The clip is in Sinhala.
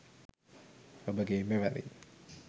ඔබගේ මෙවැනි